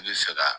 I bɛ fɛ ka